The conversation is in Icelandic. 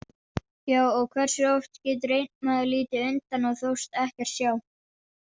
Já, og hversu oft getur einn maður litið undan og þóst ekkert sjá?